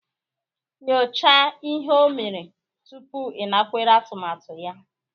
Nyochaa ihe o mere tupu ịnakwere atụmatụ ya